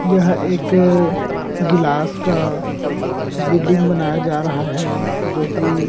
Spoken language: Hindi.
यह एक अ गिलास का बिल्डिंग बनाया जा रहा है जोकि --